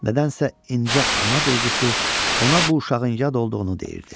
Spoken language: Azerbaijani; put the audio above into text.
Nədənsə incə ana duyğusu ona bu uşağın yad olduğunu deyirdi.